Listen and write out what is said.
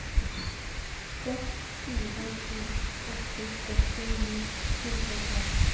seks fire to åtte førti ni hundre og tolv